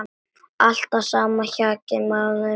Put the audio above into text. Alltaf sama hjakkið mánuðum saman!